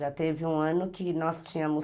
Já teve um ano que nós tínhamos